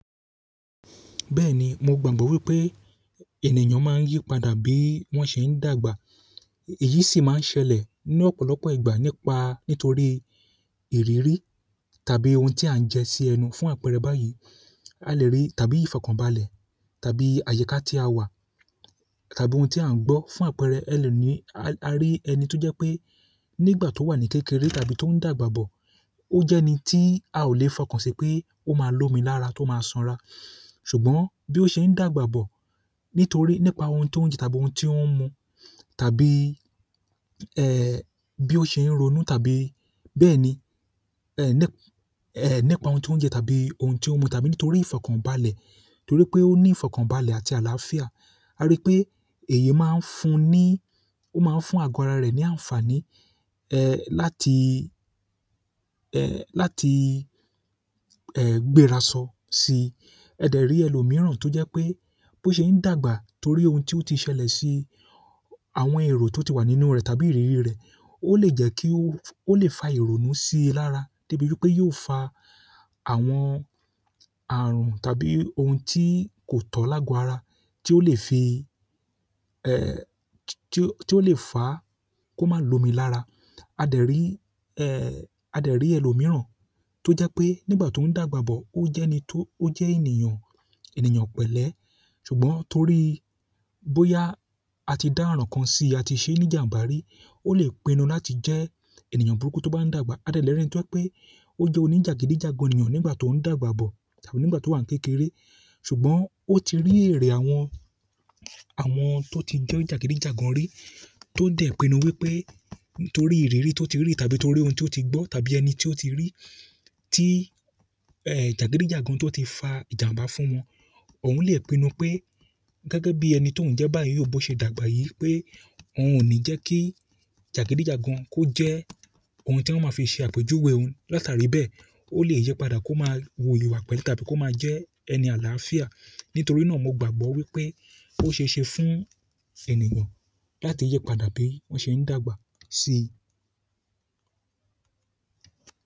Bẹ́ẹ̀ni, mo gbàgbọ́ wípé ènìyàn máa ń yípadà bí wọ́n ṣe ń dàgbà. Èyí sì máa ń ṣẹlẹ̀ ní ọ̀pọ̀lọpọ̀ ìgbà nípa, nítorí ìrírí tàbí ohun tí à ń jẹ sí ẹnu fún àpẹẹrẹ báyìí. A lè rí tàbí ìfọ̀kànbalẹ̀ tàbí àyíká tí a wà tàbí ohun tí à ń gbọ́ fún àpẹẹrẹ, ẹ lè ní, a rí ẹni tó jẹ́ pé nígbà tó wà ní kékeré tàbí tó ń dàgbà bọ̀, ó jẹ́ ẹni tí a ò lè fọkàn sí pé ó máa lomi lára tó máa sanra. Ṣùgbọ́n bí ó ṣe ń dàgbà bọ̀ nítorí nípa ohun tó ń jẹ tàbí ohun tí ó ń mu tàbí, ẹ́, bí ó ṣe ń ronú tàbí bẹ́ẹ̀ni, ẹ́, nípa ohun tó ń jẹ tàbí ohun tí ó ń mu tàbí nítorí ìfọ̀kànbalẹ̀, nítorí pé ó ní ìfọ̀kànbalẹ̀ àti àlàáfíà. A rí pé èyí máa ń fún un ní, ó máa ń fún àgọ́ ara rẹ̀ ní àǹfààní, ẹ́, láti, ẹ́, láti, ẹ́, gbérasọ sí. A dè rí ẹlòmíràn tó jẹ́ pé bí ó ṣe ń dàgbà torí ohun tí ó ti ṣẹlẹ̀ sí àwọn èrò tó ti wà nínú rẹ̀ tàbí ìrírí rẹ̀, ó lè jẹ́ kí ó, ó lè fa ìrora sí i lára débi pé yó fa àwọn ààrùn tàbí ohun tí kò tọ̀ lágo ara tí ó lè fi, ẹ́, tí ó lè fa kó máa lomi lára. A dè rí, ẹ́, a lè rí ẹlòmíràn tó jẹ́ pé nígbà tó ń dàgbà bọ̀ ó jẹ́ ẹni tó, ó jẹ́ ènìyàn, ènìyàn pẹ̀lẹ́. Ṣùgbọ́n torí bóyá a ti dá àràn kan sí i, a ti ṣe ní ìjàǹbá rí, ó lè pinnu láti jẹ́ ènìyàn burúkú tó bá ń dàgbà. A dè rí ẹni tí ó jẹ́ pé ó jẹ́ oníjàgídíjàgan ènìyàn nígbà tó ń dàgbà bọ̀ tàbí nígbà tó wà ní kékeré. Ṣùgbọ́n ó ti rí èrè àwọn, àwọn tó ti jẹ́ oníjàgídíjàgan rí tó dè pinnu wípé torí ìrírí tó ti rí tàbí torí ohun tí ó ti gbo tàbí ẹni tí ó ti rí tí, ẹ́, jàgídíjàgan tí ó ti fa ìjàǹbá fún wọn. Ọ̀ún lè pinnu pé gẹ́gẹ́ bí ẹni tó ń jẹ́ báyìí, bó ṣe dàgbà yìí pé òun ò ní jẹ́ kí jàgídíjàgan kó jẹ́ ohun tí wọ́n máa fi ṣe àpèjúwe òun. Látarì bẹ́ẹ̀, ó lè yípadà kó máa wuyìwàpẹ̀ tàbí kó máa jẹ́ ẹni àlàáfíà. Nítorí náà mo gbàgbọ́ wípé ó ṣeéṣe fún ènìyàn láti yípadà bí wọ́n ṣe ń dàgbà sí i.